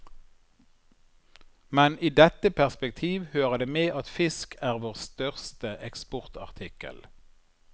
Men i dette perspektiv hører det med at fisk er vår største eksportartikkel.